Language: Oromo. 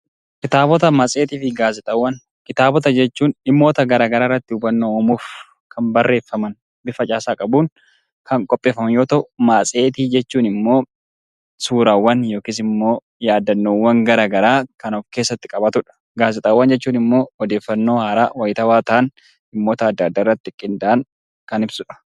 Kitaabota, matseetii fi gaazexaawwan Kitaabota jechuun dhimmoota garaagaraa irratti hubannoo uumuuf kan barreeffaman bifa caasaa qabuun kan qindeeffaman yoo ta'u, matseetii jechuun immoo suuraawwan yookiin yaadannoowwan garaagaraa kan of keessatti qabatudha. Gaazexaawwan jechuun immoo odeeffannoo haaraa, waktaawaa ta'an waanta addaa addaa irratti qindaa'an kan ibsudha.